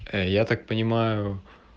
ээ я так понимаю